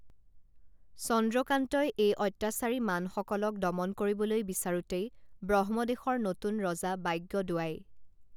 চন্দ্ৰকান্তই এই অত্যাচাৰী মানসকলক দমন কৰিবলৈ বিচাৰোঁতেই ব্ৰহ্মদেশৰ নতুন ৰজা বাগ্যদোৱাই